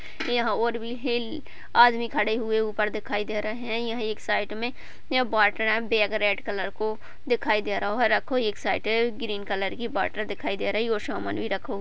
यहाँ और भी हैई आदमी खड़े हुए ऊपर दिखाई दे रहे हैं यह एक साइड मे रेड कलर को दिखाई दे रहो (रहा) है रखो (रखा) एक साइड ग्रीन कलर की बॉर्डर दिखाई दे रही है और सोमोन (सामान) भी रखो (रखा) --